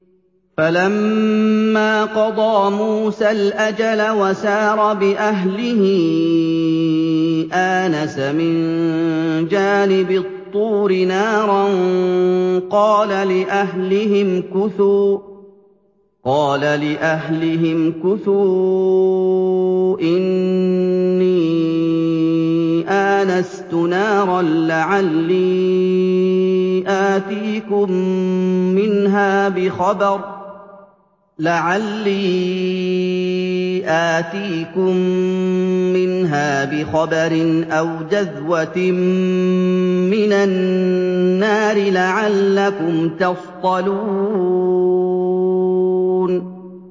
۞ فَلَمَّا قَضَىٰ مُوسَى الْأَجَلَ وَسَارَ بِأَهْلِهِ آنَسَ مِن جَانِبِ الطُّورِ نَارًا قَالَ لِأَهْلِهِ امْكُثُوا إِنِّي آنَسْتُ نَارًا لَّعَلِّي آتِيكُم مِّنْهَا بِخَبَرٍ أَوْ جَذْوَةٍ مِّنَ النَّارِ لَعَلَّكُمْ تَصْطَلُونَ